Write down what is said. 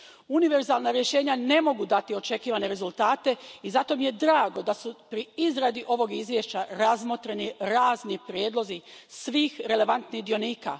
Univerzalna rješenja ne mogu dati očekivane rezultate i zato mi je drago da su pri izradi ovog izvješća razmotreni razni prijedlozi svih relevantnih dionika.